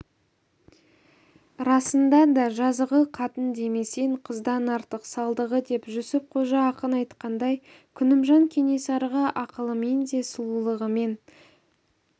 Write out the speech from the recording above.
расында да жазығы қатын демесең қыздан артық салдығы деп жүсіп қожа ақын айтқандай күнімжан кенесарыға ақылымен де сұлулығымен